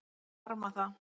Ég harma það.